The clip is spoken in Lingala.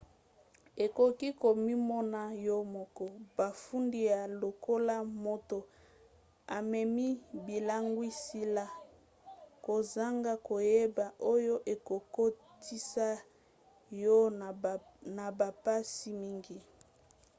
okoki komimona yo moko bafundi yo lokola moto amemi bilangwisela kozanga koyeba oyo ekokotisa yo na bampasi mingi